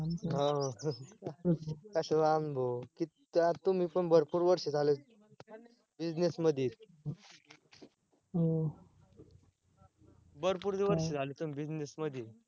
हा कशाला अनुभव? किती तुमी पण भरपूर वर्ष झालेत business मध्ये भरपूर दिवस झाले तुम्ही business मध्ये